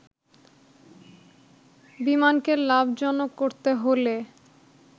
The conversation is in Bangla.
বিমানকে লাভজনক করতে হলে